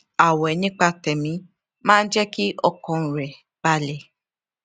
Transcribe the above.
ààwè nípa tèmí máa ń jé kí ọkàn rè balè